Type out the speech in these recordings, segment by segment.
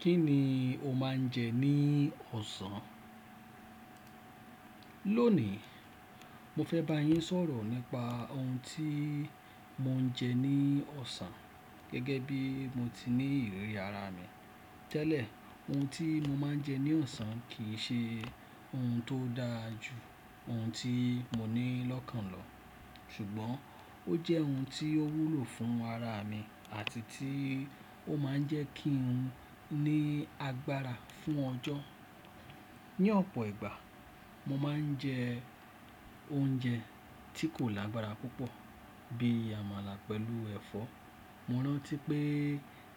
Kí ni o máa ń jẹ ní ọ̀sán? Lónìí, mo fẹ́ bá yín sọ̀rọ̀ nípa ohun tí mo ń jẹ ní ọ̀sán. Gẹ́gẹ́ bí mo ti ní ìrírí ara mi tẹ́lẹ̀, ohun tí mo máa ń jẹ ní ọ̀sán kì í ṣe ohun tó dáa ju ohun tí mo ní lọ́kàn lọ. Ṣùgbọ́n, ó jẹ́ ohun tí ó wúlò fún ara mi àti tí ó máa ń jẹ́ kí n ní agbára fún ọjọ́. Ni ọ̀pọ̀ ìgbà, mo máa ń jẹ oúnjẹ tí kò lágbára púpọ̀ bí i àmàlà pẹ̀lú ẹ̀fọ́. Mo rántí pé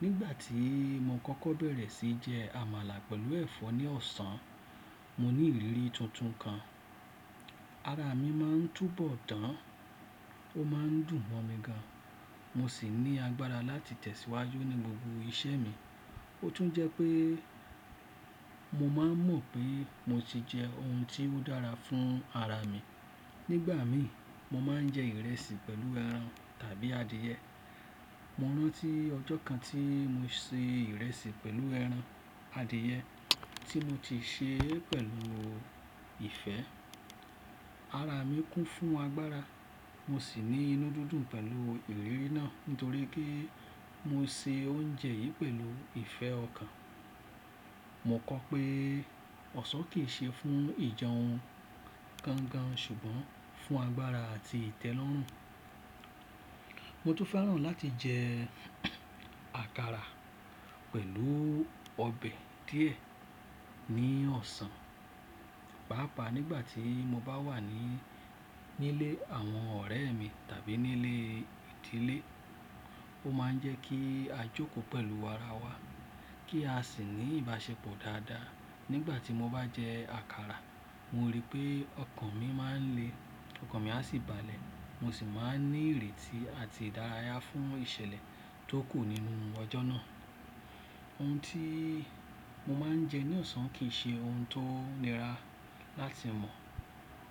nígbà tí mo kọ́kọ́ bẹ̀rẹ̀ sí jẹ àmàlà pẹ̀lú ẹ̀fọ́ ní ọ̀sán, mo ní ìriri tuntun kan. Ara mi máa ń túbọ̀ dán, ó máa ń dùn mọ́ mi gan, mo sì ní agbára láti tẹ̀síwájú ní gbogbo iṣẹ́ mi. Ó tún jẹ́ pé mo máa mọ̀ pé mo ti jẹ ohun tí ó dára fún ara mi. Nígbà mi, mo máa ń jẹ ìrẹsì pẹ̀lú ẹran tàbí adìyẹ. Mo rántí ọjọ́ kan tí mo se ìrẹsì pẹ̀lú ẹran adìyẹ tí mo ti ṣe pẹ̀lú ìfẹ́. Ara mi kún fún agbára, mo sì ní inú dídùn pẹ̀lú ìlérí náà nítorí pé mo se oúnjẹ yìí pẹ̀lú ìfẹ́ ọkàn. Mo kọ pé ọ̀sán kì í ṣe fún ìjẹun gangan ṣùgbọ́n fún agbára àti ìtẹ́lọ́rùn. Mo tún fẹ́ràn láti jẹ àkàrà pẹ̀lú ọbẹ̀ díẹ̀ ní ọ̀sán. Páápàá nígbà tí mo bá wà ní, nílé àwọn ọ̀rẹ́ mi tàbí nílé ìdílé, ó máa ń jẹ́ kí a jókòó pẹ̀lú ara wa kí a sì ní ìbáṣepọ̀ dáadáa. Nígbà tí mo bá jẹ àkàrà, mo ríi pé ọkàn mi máa ń le, ọkàn mi a sì balẹ̀, mo sì máa ń ní ìrètí àti ìdárayá fún ìṣẹ̀lẹ̀ tó kù nínú ọjọ́ náà. Ohun tí mo máa ń jẹ ní ọ̀sán kì í ṣe ohun tó nira láti mọ̀.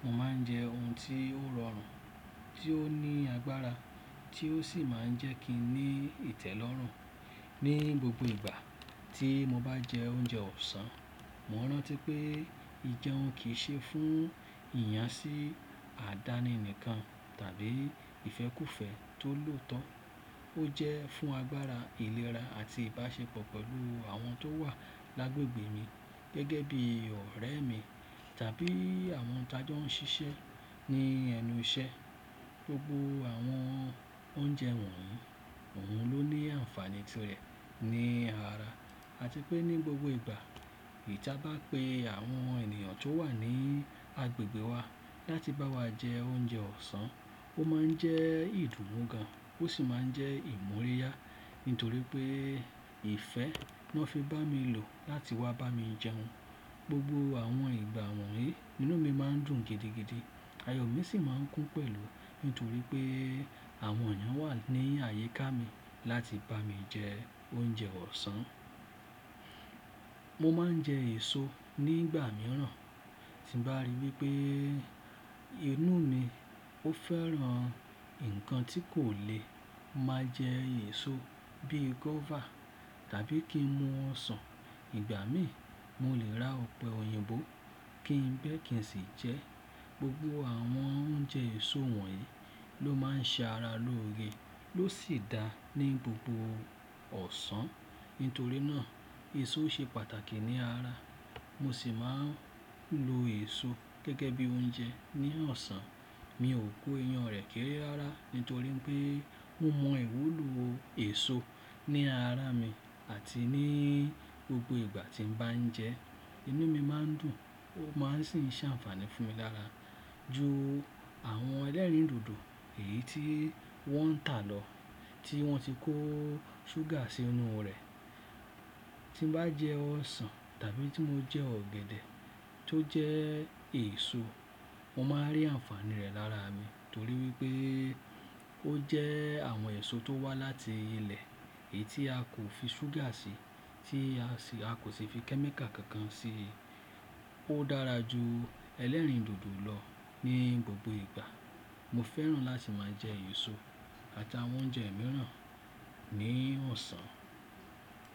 Mo máa ń jẹ ohun tí ó rọrùn, tí ó ní agbára, tí ó sì máa ń jẹ́ kí n ní ìtẹ́lọ́rùn. Ni gbogbo ìgbà tí mo bá jẹ oúnjẹ ọ̀sán, mo rántí pé ìjẹun kì í ṣe fún ìyànsí àdáni nìkan tàbí ìfẹ́kúfẹ̀ẹ́ tó lòótọ́. Ó jẹ́ fún agbára, ìlera àti ìbáṣepọ̀ pẹ̀lú àwọn tó wà l'agbègbè mi gẹ́gẹ́ bí ọ̀rẹ́ mi tàbí àwọn tájọ́ ń ṣiṣẹ́ ní ẹnu iṣẹ́. Gbogbo àwọn oúnjẹ wọ̀nyí, òun ló ní àǹfààní ti rẹ̀ ní ara. A ti pé ní gbogbo ìgbà, eyii ta bá pe àwọn ènìyàn tó wà ní agbègbè wa láti bá wa jẹ oúnjẹ ọ̀sán, ó máa ń jẹ́ ìdùnnú gan, ó sì máa ń jẹ́ ìmúríyá. Nítorí pé ìfẹ́ lo fi bá mi lò láti wá bá mi jẹun. Gbogbo àwọn ìgbà wọ̀nyí, ninú mi máa ń dùn gidigidi, ayọ̀ mi sì máa ń kún pẹ̀lú nítorí pé àwọn èyan wà ní àyíká mi láti bá mi jẹ oúnjẹ ọ̀sán. Mo máa ń jẹ èso nígbà mìíràn. Tí mo bá rí wípé inú mi ó fẹ́ran nǹkan tí kò le, mo máa jẹ èso bíi guava tàbí kí n mu ọsàn. Ìgbà míì, mo lè ra ọ̀pẹ̀ òyìnbó kí n béèkì sì jẹ ẹ́. Gbogbo àwọn oúnjẹ èso wọ̀nyí ló máa ń ṣe ara lóore ló sì dáa ní gbogbo ọ̀sán. Nítorí náà, èso ṣe pàtàkì ní ara. Mo sì máa ń lo èso gẹ́gẹ́ bí oúnjẹ ní ọ̀sán. Mi ò kó iyan rẹ̀ kéré rárá nítorí pé mo mọ ìwúlò èso ní ara mi àti ní gbogbo ìgbà tí n bá ń jẹ ẹ́, inú mi máa ń dùn, ó máa sì ń ṣe àǹfààní fún mi lára ju àwọn ẹlẹ́rìndòdò èyí tí wọ́n ń tà lọ tí wọ́n ti kó ṣúgà sí inú rẹ̀. Tí n bá jẹ ọsàn tàbí tí mo jẹ ọ̀gẹ̀dẹ̀ tó jẹ́ èso, mo máa rí àǹfààní rẹ̀ lára mi nítorí wípé ó jẹ́ àwọn èso tó wá láti ilẹ̀ èyí tí a kò fi ṣúgà sí, tí a kò sì fi chemical kankan sí i. Ó dára ju ẹlẹ́rìndòdò lọ ní gbogbo ìgbà. Mo fẹ́ràn láti máa jẹ èso àtàwọn oúnjẹ mìíràn ní ọ̀sán.